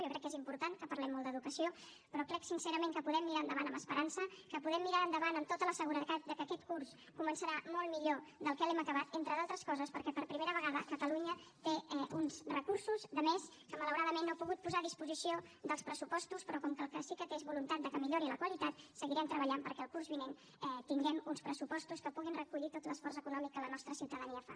jo crec que és important que parlem molt d’educació però crec sincerament que podem mirar endavant amb esperança que podem mirar endavant amb tota la seguretat que aquest curs començarà molt millor del que l’hem acabat entre d’altres coses perquè per primera vegada catalunya té uns recursos de més que malauradament no ha pogut posar a disposició dels pressupostos però com que el que sí que té és voluntat que millori la qualitat seguirem treballant perquè el curs vinent tinguem uns pressupostos que puguin recollir tot l’esforç econòmic que la nostra ciutadania fa